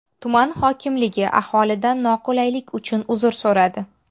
Tuman hokimligi aholidan noqulaylik uchun uzr so‘radi.